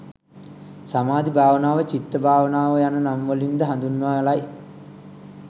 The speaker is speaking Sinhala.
සමාධි භාවනාව චිත්ත භාවනාව යන නම් වලින් ද හඳුන්වාලයි.